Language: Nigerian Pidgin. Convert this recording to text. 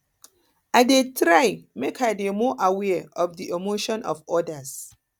i dey try make i dey more aware of di emotions of odas